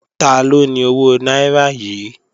Taló ni owó náírà yìí?